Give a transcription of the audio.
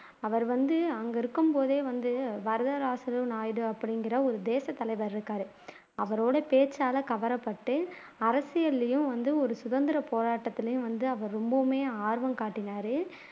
அவர் வந்து அங்க இருக்கும்போதே வந்து வரதராசுலு நாயுடு அப்படிங்கிற ஒரு தேசத்தலைவர் இருக்காரு அவரோட பேச்சால கவரப்பட்டு அரசியலிலேயும் வந்து ஒரு சுதந்திரப்போராட்டத்துலயும் வந்து அவர் ரொம்பவுமே ஆர்வம் காட்டினாரு